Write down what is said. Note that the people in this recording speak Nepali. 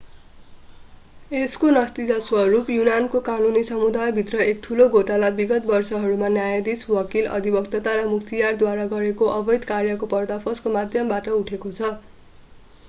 यसको नतिजा स्वरूप युनानको कानुनी समुदायभित्र एक ठूलो घोटाला विगत वर्षहरूमा न्यायाधीश वकिल अधिवक्ता र मुख्तियारद्वारा गरेको अवैध कार्यको पर्दाफासको माध्यमबाट उठेको छ